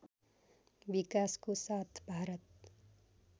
विकासको साथ भारत